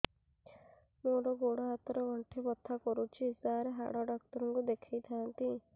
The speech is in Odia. ମୋର ଗୋଡ ହାତ ର ଗଣ୍ଠି ବଥା କରୁଛି ସାର ହାଡ଼ ଡାକ୍ତର ଙ୍କୁ ଦେଖାଇ ଥାନ୍ତି